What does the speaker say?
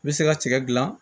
I bɛ se ka tigɛ dilan